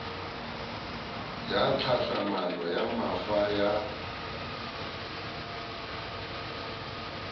ya tlhahlamano ya mafa ya